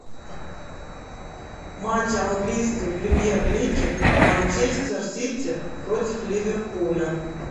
матч английской премьер лиги манчестер сити против ливерпуля